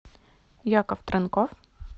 яков транков